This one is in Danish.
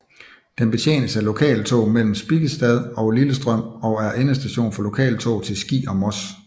Den betjenes af lokaltog mellem Spikkestad og Lillestrøm og er endestation for lokaltog til Ski og Moss